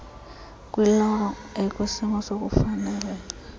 kwiloro ekwisimo sokufaneleka